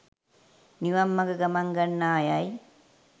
නිවන් මග ගමන් ගන්නා’ අයයි.